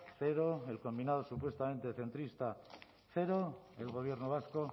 cero el combinado supuestamente centrista cero el gobierno vasco